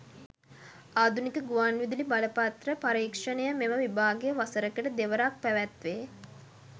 ආධුනික ගුවන් විදුලි බලපත්‍ර පරීක්‍ෂණය මෙම විභාගය වසරකට දෙවරක් පැවැත්වේ.